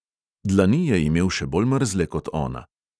Dlani je imel še bolj mrzle kot ona.